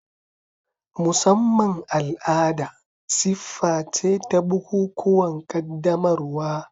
Musamman al'ada siffa ce ta bukukuwan qaddamarwa.